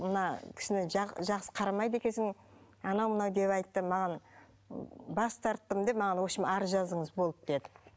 мына кісіні жақсы қарамайды екенсің анау мынау деп айтты маған бас тарттым деп маған общем арыз жазыңыз болды деді